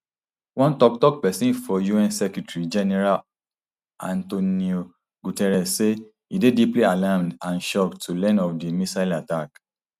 one toktok pesin for un secretarygeneral antnio guterres say e dey deeply alarmed and shocked to learn of di missile attack